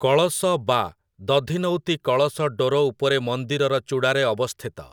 କଳସ ବା ଦଧିନଉତି କଳସ ଡୋର ଉପରେ ମନ୍ଦିରର ଚୂଡ଼ାରେ ଅବସ୍ଥିତ ।